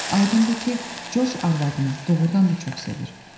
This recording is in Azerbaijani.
Aydındır ki, Corc arvadını doğurdan da çox sevir.